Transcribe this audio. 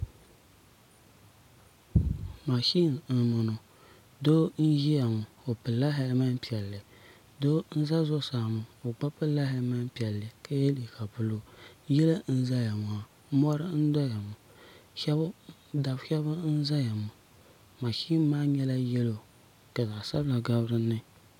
mashini n boŋo doo n ʒiya ŋo o pilila hɛlmɛnt piɛlli doo n ʒɛ zuɣusaa ŋo o gba pilila hɛlmɛnt piɛlli ka yɛ liiga buluu yili n ʒɛya ŋo mori n ʒɛya ŋo dabba shab n ʒɛya ŋo mashin maa nyɛla yɛlo ka zaɣ sabila gabi dinni